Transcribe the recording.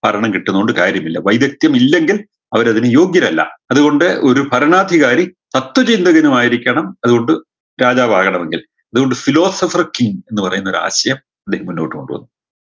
ഭരണം കിട്ടിയത് കൊണ്ട് കാര്യമില്ല വൈദക്ത്യമില്ലെങ്കിൽ അവരതിന് യോഗ്യരല്ല അത് കൊണ്ട് ഒരു ഭരണാധികാരി തത്ത്വ ചിന്തകനുമായിരിക്കണം അത് കൊണ്ട് രാജാവാകണമെങ്കിൽ അത് കൊണ്ട് philosopher king എന്ന് പറയുന്നൊരാശയം പുള്ളി മുന്നോട്ട് കൊണ്ട് വന്നു